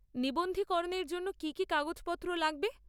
নিবন্ধীকরণের জন্য কী কী কাগজপত্র লাগবে?